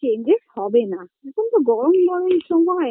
changes হবেনা এখনতো গরম গরম সময়